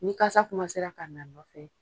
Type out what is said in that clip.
Ni kasa ka na nɔfɛ,